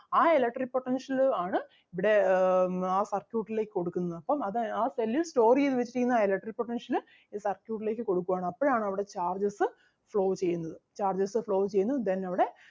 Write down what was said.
ആ electric potential ആണ് ഇവിടെ ആഹ് ആ circuit ലേക്ക് കൊടുക്കുന്നത് അപ്പം അത് ആ cell ൽ store ചെയ്‌ത്‌ വെച്ചിരിക്കുന്ന ആ electric potential അഹ് circuit ലേക്ക് കൊടുക്കുവാണ് അപ്പഴാണ് അവിടെ charges flow ചെയ്യുന്നത് charges flow ചെയ്യുന്നു then അവിടെ